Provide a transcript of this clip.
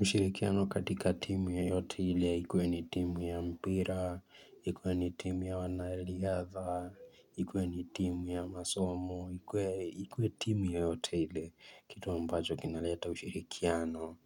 Ushirikiano katika timu yoyote ile ikuwe ni timu ya mpira, ikuwe ni timu ya wanariadha, ikuwe ni timu ya masomo, ikuwe timu yoyote ile, ni kitu ambacho kinaleta ushirikiano